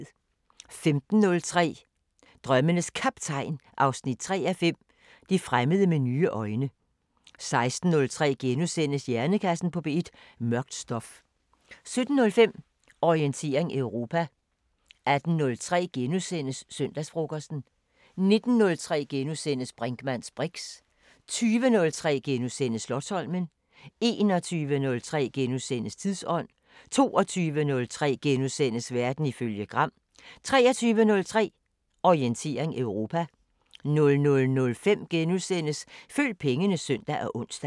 15:03: Drømmenes Kaptajn 3:5 – Det fremmede med nye øjne 16:03: Hjernekassen på P1: Mørkt stof * 17:05: Orientering Europa 18:03: Søndagsfrokosten * 19:03: Brinkmanns briks * 20:03: Slotsholmen * 21:03: Tidsånd: * 22:03: Verden ifølge Gram * 23:03: Orientering Europa 00:05: Følg pengene *(søn og ons)